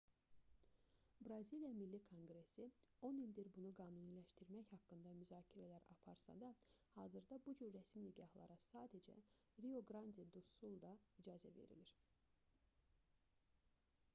braziliya milli konqresi 10 ildir bunu qanuniləşdirmək haqqında müzakirələr aparsa da hazırda bu cür rəsmi nikahlara sadəcə rio-qrandi-du-sulda icazə verilir